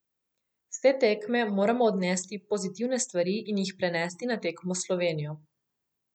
S te tekme moramo odnesti pozitivne stvari in jih prenesti na tekmo s Slovenijo.